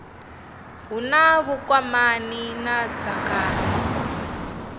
hu na vhukwamani na dzangano